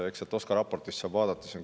Eks sealt OSKA raportist saab vaadata.